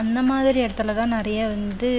அந்த மாதிரி இடத்திலேதான் நிறைய வந்து